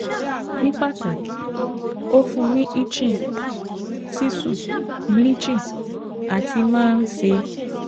ní pàtàkì, ó fún un ní itching, sísùn, bleaching àti máa ń ṣea